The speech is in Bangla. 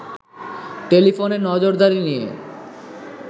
টেলিফোনে নজরদারি নিয়ে